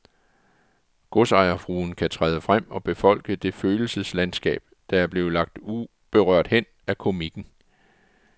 Godsejerfruen kan træde frem og befolke det følelseslandskab, der er blevet lagt uberørt hen af komikken.